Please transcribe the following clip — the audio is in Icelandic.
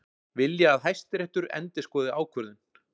Vilja að Hæstiréttur endurskoði ákvörðun